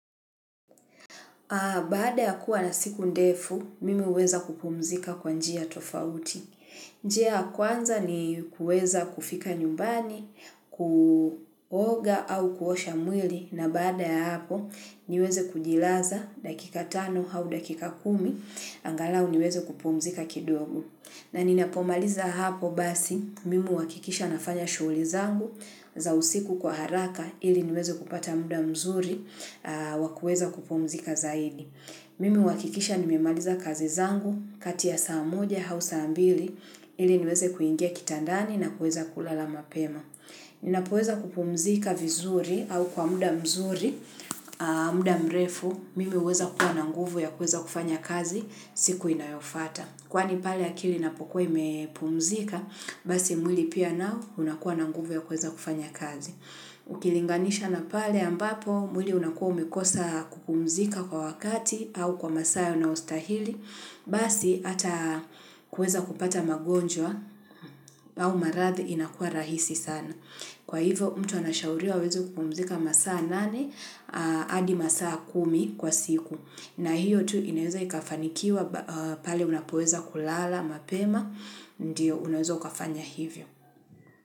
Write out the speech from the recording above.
Baada ya kuwa na siku ndefu, mimi huweza kupumzika kwa njia tofauti. Njia ya kwanza ni kueza kufika nyumbani, kuoga au kuosha mwili na baada ya hapo niweze kujilaza dakika tano au dakika kumi, angalau niweze kupumzika kidogo. Na ninapomaliza hapo basi, mimi huhakikisha nafanya shughuli zangu za usiku kwa haraka ili niweze kupata muda mzuri wakueza kupumzika zaidi. Mimi huhakikisha nimemaliza kazi zangu kati ya saa moja au saa mbili ili niweze kuingia kitandani na kuweza kulala mapema. Ninapoweza kupumzika vizuri au kwa muda mzuri, muda mrefu, mimi huweza kuwa nanguvu ya kuweza kufanya kazi siku inayofuata. Kwani pale akili na pokuwa imepumzika, basi mwili pia nao unakuwa na nguvu ya kuweza kufanya kazi. Ukilinganisha na pale ambapo mwili unakuwa umekosa kupumzika kwa wakati au kwa masaa inayo stahili, basi ata kuweza kupata magonjwa au marathi inakuwa rahisi sana. Kwa hivo mtu anashauriwa aweze kupumzika masaa nane hadi masaa kumi kwa siku. Na hiyo tu inaweza ikafanikiwa pale unapoweza kulala, mapema, ndiyo unaweza ukafanya hivyo.